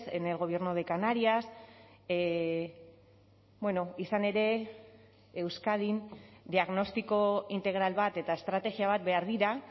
en el gobierno de canarias izan ere euskadin diagnostiko integral bat eta estrategia bat behar dira